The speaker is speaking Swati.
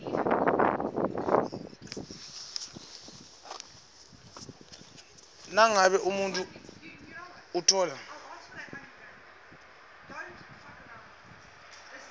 nangabe umuntfu utfola